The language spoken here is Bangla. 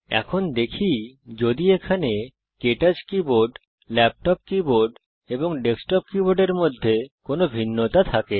এখন দেখি যদি এখানে কে টচ কীবোর্ড ল্যাপটপ কীবোর্ড এবং ডেস্কটপ কীবোর্ডে কোনো ভিন্নতা থাকে